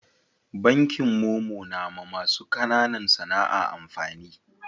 Bankin momo na ma masu kananan sana'a amfani